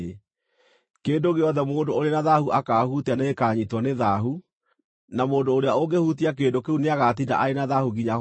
Kĩndũ gĩothe mũndũ ũrĩ na thaahu akaahutia nĩgĩkanyiitwo nĩ thaahu, na mũndũ ũrĩa ũngĩhutia kĩndũ kĩu nĩagatinda arĩ na thaahu nginya hwaĩ-inĩ.”